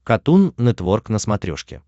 катун нетворк на смотрешке